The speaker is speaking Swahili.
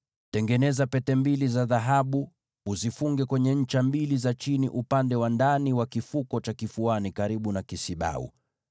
Tengeneza pete mbili za dhahabu, uzishikamanishe kwenye pembe mbili za chini, upande wa ndani wa kifuko cha kifuani karibu na kisibau.